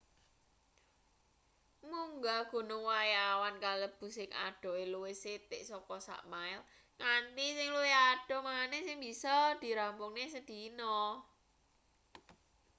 munggah gunung wayah awan kalebu sing adohe luwih sithik saka sak mile nganti sing luwih adoh maneh sing bisa dirampungne sedina